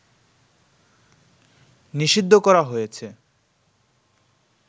নিষিদ্ধ করা হয়েছে